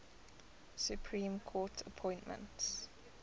supreme court appointments